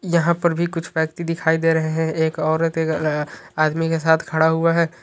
यहाँ पर भी कुछ व्यक्ति दिखाई दे रहे हैं। एक औरत आदमी के साथ खड़ा हुआ है।